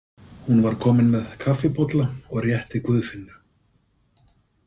Hún var komin með kaffibolla og rétti Guðfinnu.